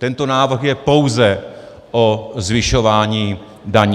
Tento návrh je pouze o zvyšování daní.